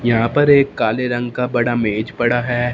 यहां पर एक काले रंग का बड़ा मेज पड़ा है।